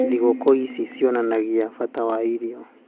Thigũkũ ici cionanagia bata wa irio.